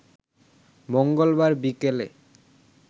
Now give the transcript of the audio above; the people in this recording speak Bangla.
মঙ্গলবার বিকালে